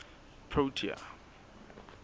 protea